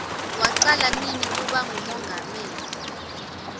wacala nini kuba ngumongameli